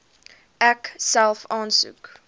ek self aansoek